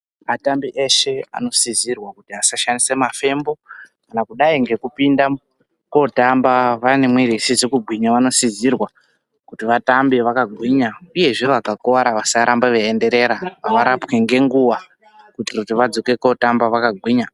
Atambi eshe anotsidzirwa kuti asashandise mafembo kana kudai ngekupinda kotamba vane mwiri isizi kugwinya vanotsidzirwa kuti vatambe vakagwinya uyezve vakakuwara vasarambe veuenderera varapwe ngenguwa kuitire kuti vadzoke kotamba vakagwinya .